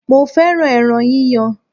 Mo fẹ́ràn ẹran yíyan.